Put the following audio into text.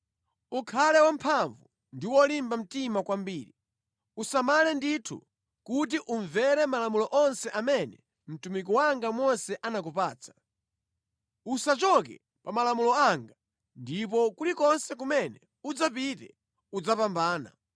Ukhale wamphamvu ndi wolimba mtima kwambiri. Usamale ndithu kuti umvere malamulo onse amene mtumiki wanga Mose anakupatsa. Usachoke pa malamulo anga ndipo kulikonse kumene udzapite udzapambana.